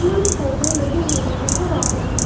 फूल-पौधे लगे हुए नजर आ रहे हैं।